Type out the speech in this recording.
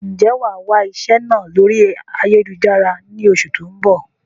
Ń jẹ́ wá wà iṣẹ́ náà lórí ayélujára ni oṣù tó ń bọ̀?